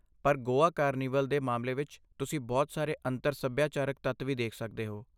ਪਰ ਗੋਆ ਕਾਰਨੀਵਲ ਦੇ ਮਾਮਲੇ ਵਿੱਚ, ਤੁਸੀਂ ਬਹੁਤ ਸਾਰੇ ਅੰਤਰ ਸਭਿਆਚਾਰਕ ਤੱਤ ਵੀ ਦੇਖ ਸਕਦੇ ਹੋ